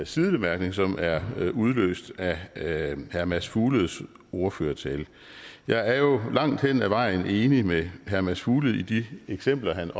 sidebemærkning som er udløst af herre herre mads fugledes ordførertale jeg er jo langt hen ad vejen enig med herre mads fuglede i de eksempler han